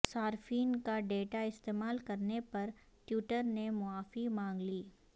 صارفین کا ڈیٹا استعمال کرنے پر ٹویٹر نے معافی مانگ لی